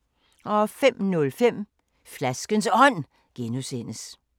05:05: Flaskens Ånd (G)